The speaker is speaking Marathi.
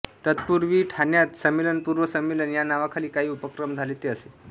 तत्पूर्वी ठाण्यात संमेलनपूर्व संमेलन या नावाखाली काही उपक्रम झाले ते असे